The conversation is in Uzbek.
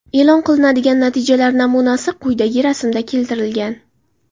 E’lon qilinadigan natijalar namunasi quyidagi rasmda keltirilgan.